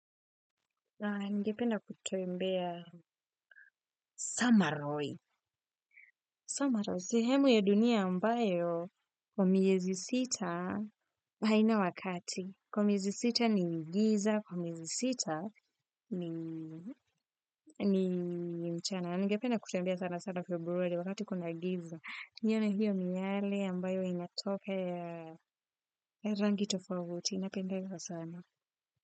Ningependa kutembea Samaroi. Samaroi. Sehemu ya dunia ambayo kwa miezi sita haina wakati. Kwa miezi sita ni giza. Kwa miezi sita ni mchana. Ningependa kutembea sana sana februari wakati kuna giza. Nione hiyo ni yale ambayo inatokea rangi tofauti. Napendezwa sana.